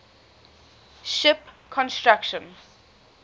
ship construction